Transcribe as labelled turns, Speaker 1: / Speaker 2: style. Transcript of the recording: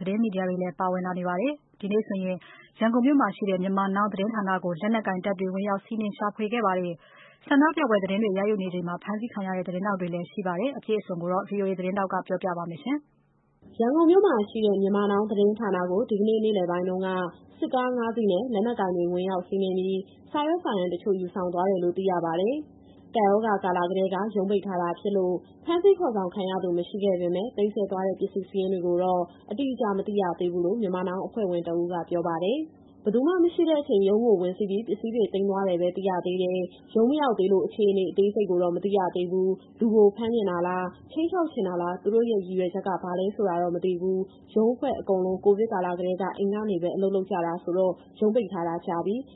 Speaker 1: သတင်းမီဒီယာတွေလည်း အကြမ်းဖက်နှိမ်နင်းခံနေရပါတယ်။ ဒီကနေ့ နေ့လယ်ပိုင်းမှာ ရန်ကုန်မှာရှိတဲ့ Myanmar Now သတင်းဌာနကို လက်နက်ကိုင်တွေ ဝင်ရောက်စီးနင်းခဲ့သလို၊ သတင်းရယူနေချိန် ဖမ်းဆီးခံရတဲ့ သတင်းထောက်တွေလည်း ရှိခဲ့ပါတယ်။ အပြည့်အစုံကိုတော့ ဗွီအိုအေမြန်မာပိုင်း သတင်းထောက် မစုစုက ပြောပြမှာပါ။ ရန်ကုန်မြို့မှာရှိတဲ့ Myanmar Now သတင်းဌာနကို ဒီကနေ့ နေ့လယ်ပိုင်းတုန်းက စစ်ကား ၅ စီးနဲ့ လက်နက်ကိုင်တွေ ဝင်ရောက်စီးနင်းပြီး စာရွက်စာတမ်း တချို့ယူသွားတယ်လို့ သိရပါတယ်။ ကပ်ရောဂါကာလကတည်းက ရုံးပိတ်ထားတာဖြစ်လို့ ဖမ်းဆီးခေါ်ဆောင်ခံရသူ မရှိခဲ့ပေမဲ့ သိမ်းဆည်းသွားတဲ့ ပစ္စည်းစာရင်းတွေကိုတော့ အတိအကျမသိရသေးဘူးလို့ Myanmar Now အဖွဲ့ဝင်တဦးက ပြောပါတယ်။ "ဘယ်သူမှ မရှိတဲ့အချိန် ရုံးကိုဝင်စီးပြီး ပစ္စည်းတွေ သိမ်းသွားတယ်ပဲ သိရသေးတယ်။ ရုံးမရောက်သေးလို့ အခြေအနေအသေးစိတ်ကိုတော့ မသိရသေးဘူး။ လူကို ဖမ်းချင်တာလား၊ ခြိမ်းခြောက်ချင်တာလား၊ သူတို့ရဲ့ ရည်ရွယ်ချက်က ဘာလဲဆိုတာတော့မသိဘူး။ ရုံးအဖွဲ့အကုန်လုံးက ကိုဗစ်ကာလကတည်းက အိမ်ကနေပဲ အလုပ်လုပ်ကြတာဆိုတော့ ရုံးပိတ်ထားတာကြာပြီ။"